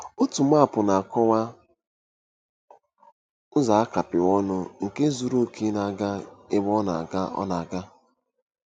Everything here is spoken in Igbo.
Otu maapụ na-akọwa ụzọ a kapịrị ọnụ, nke zuru oke na-aga ebe ọ na-aga. ọ na-aga.